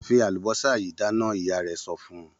Fi àlùbọ́sà yìí dáná! Ìyá rẹ̀ sọ fún un.